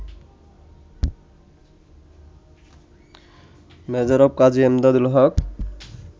Major অব. কাজী এমদাদুল হক